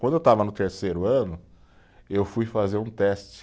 Quando eu estava no terceiro ano, eu fui fazer um teste.